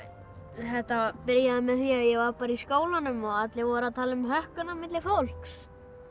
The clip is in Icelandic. þetta byrjaði með því að ég var bara í skólanum og allir voru að tala um hökkun á milli fólks